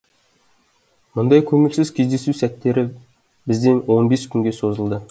мұндай көңілсіз кездесу сәттері бізде он бес күнге созылды